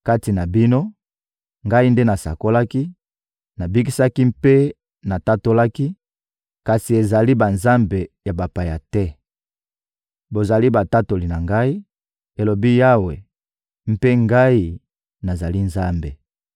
Kati na bino, Ngai nde nasakolaki, nabikisaki mpe natatolaki; kasi ezali banzambe ya bapaya te. Bozali batatoli na Ngai,» elobi Yawe, «mpe Ngai, nazali Nzambe.